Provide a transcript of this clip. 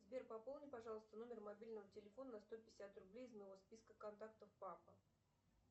сбер пополни пожалуйста номер мобильного телефона на сто пятьдесят рублей из моего списка контактов папа